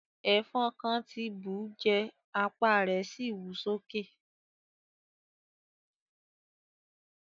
Ẹfọn kàn ti bú ù jẹ́, apa rẹ si wú soke.